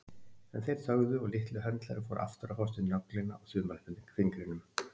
En þeir þögðu og litli höndlarinn fór aftur að fást við nöglina á þumalfingrinum.